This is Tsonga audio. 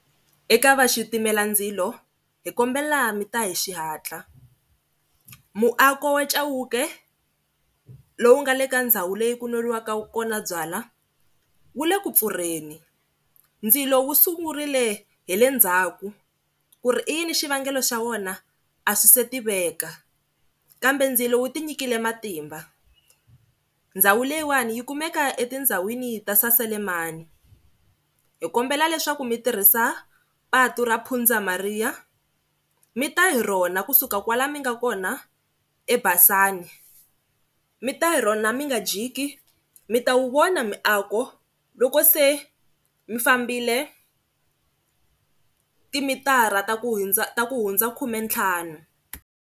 Eka vaxitimela ndzilo hi kombela mi ta hi xihatla, muako wa Chauke lowu nga le ka ndhawu leyi ku nweriwaka kona byala wu le ku pfurheni. Ndzilo wu sungurile hi le ndzhaku, ku ri i yini xivangelo xa wona a swi se tiveka kambe ndzilo wu tinyikile matimba. Ndhawu leyiwani yi kumeka etindhawini ta Saselamani, hi kombela leswaku mi tirhisa patu ra Pundza Maria mi ta hi rona kusuka kwala mi nga kona eBasani mi ta hi rona mi nga jiki mi ta wu vona miako loko se mi fambile timitara ta ku ta ku hundza khumentlhanu.